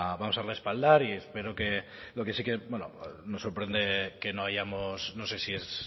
vamos a respaldar y espero que lo que sí que bueno nos sorprende que no hayamos no sé si es